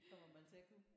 Det kommer man til at kunne